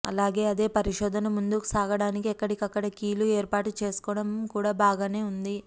అలాగే అదే పరిశోధన ముందుకు సాగడానికి ఎక్కడిక్కడ కీ లు ఏర్పాటు చేసుకోవడం కూడా బాగానే వుంది